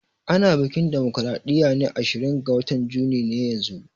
Ana biƙin damocraɗiya ne ashirin ga watan juni ne yanzun